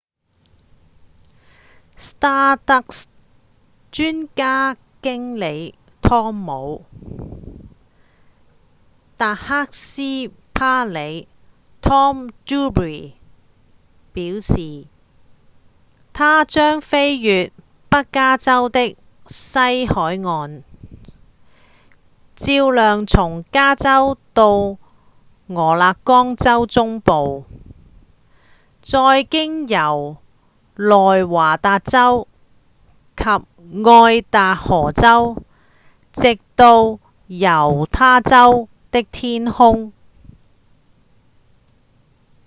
stardust 專案經理湯姆．達克斯伯里 tom duxbury 表示：「它將飛越北加州的西海岸照亮從加州到俄勒岡州中部再經由內華達州及愛達荷州直到猶他州的天空」